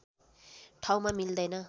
ठाउँमा मिल्दैन